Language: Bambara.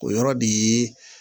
O yɔrɔ bi